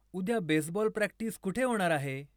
उद्या baseball practice कुठे होणार आहे